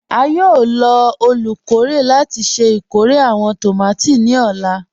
À yóò lọ olúkọ̀rè láti ṣẹ ikórè àwọn tómati ni ọ̀la.